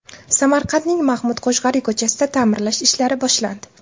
Samarqandning Mahmud Qoshg‘ariy ko‘chasida ta’mirlash ishlari boshlandi.